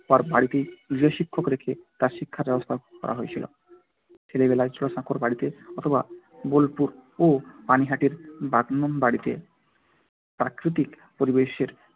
তার বাড়িতেই গৃহশিক্ষক রেখে তার শিক্ষার ব্যবস্থা করা হয়েছিল। ছেলেবেলায় জোড়াসাঁকোর বাড়িতে অথবা বোলপুর ও পানিহাটির বাগানবাড়িতে প্রাকৃতিক পরিবেশের